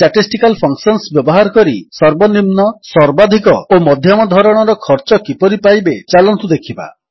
statistical functions ବ୍ୟବହାର କରି ସର୍ବନିମ୍ନ ସର୍ବାଧିକ ଓ ମଧ୍ୟମ ଧରଣର ଖର୍ଚ୍ଚ କିପରି ପାଇବେ ଚାଲନ୍ତୁ ଦେଖିବା